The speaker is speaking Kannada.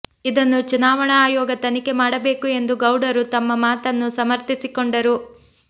ಇದನ್ನು ಚುನಾವಣಾ ಆಯೋಗ ತನಿಖೆ ಮಾಡಬೇಕು ಎಂದು ಗೌಡರು ತಮ್ಮ ಮಾತನ್ನು ಸಮರ್ಥಿಸಿಕೊಂಡರು